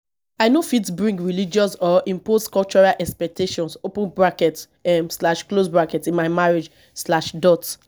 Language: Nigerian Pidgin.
i no fit bring religious or imposed cultural expectations open bracket um slash close bracket in my marriage slash dot